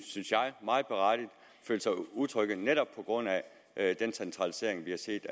synes jeg føler sig utrygge netop på grund af den centralisering vi har set